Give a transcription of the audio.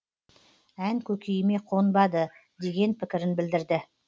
ән көкейіме қонбады деген пікірін білдірді